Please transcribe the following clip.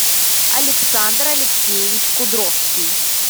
александр алексеевич кудровский